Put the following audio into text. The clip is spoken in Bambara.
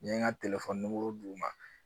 N ye n ka d'u ma